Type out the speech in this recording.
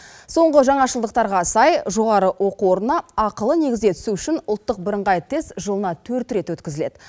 соңғы жаңашылдықтарға сай жоғары оқу орнына ақылы негізде түсу үшін ұлттық бірыңғай тест жылына төрт рет өткізіледі